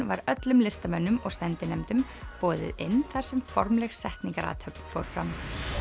var öllum listamönnum og sendinefndum boðið inn þar sem formleg setningarathöfn fór fram